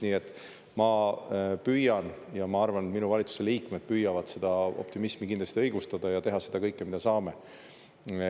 Nii et ma püüan ja ma arvan, et minu valitsuse liikmed püüavad seda optimismi kindlasti õigustada ja teha seda kõike, mida saame.